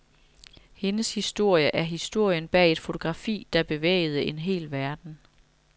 Hendes historie er historien bag et fotografi, der bevægede en hel verden.